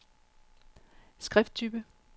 skrifttype